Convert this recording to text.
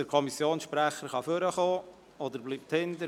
Der Kommissionssprecher kann nach vorne kommen, oder er bleibt hinten.